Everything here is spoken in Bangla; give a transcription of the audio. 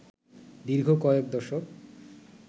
দীর্ঘ কয়েক দশক